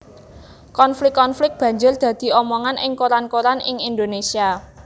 Konflik konflik banjur dadi omongan ing koran koran ing Indonésia